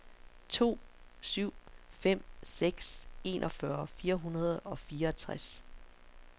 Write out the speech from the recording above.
to syv fem seks enogfyrre fire hundrede og fireogtres